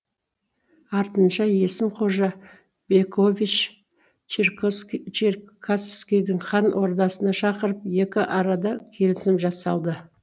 артынша есім қожа бекович черкосски черкасскийді хан ордасына шақырып екі арада келісім жасалды